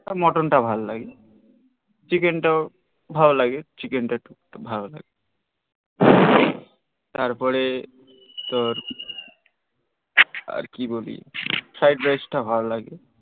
mutton টা ভাল লাগে চিকেন তাও ভাল লাগে চিকেন টা খুব ভাল লাগে তারপরে তোর আর কি বলি fried rice তা ভাল লাগে